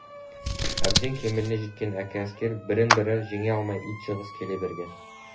әбден кемеліне жеткен әккі әскер бірін-бірі жеңе алмай ит жығыс келе берген